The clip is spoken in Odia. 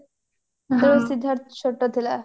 ସେତେବେଳେ ସିଦ୍ଧାର୍ଥ ଛୋଟ ଥିଲା